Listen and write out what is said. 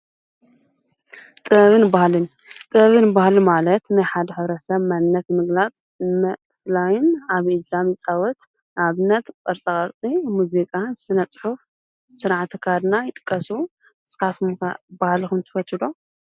ጥብን ባሃልን ጥብን ባህሉ ማለት ናይ ሓደ ሕብረሰብ መነት ምግላጽ መፍላይን ኣብ እጃም ይጻወት ኣብነት በርተቐርጢ ሙዜቃ፣ ስነ-ጽሑፍ ሥርዓ ተካድና ይጥቀሱዉ ንስካትኩም ባሃልኹም ትፈትውዶ?